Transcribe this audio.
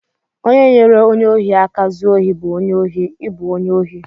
Onye nyere onye ohi aka zuo ohi bụ onye ohi, I bụ onye ohi!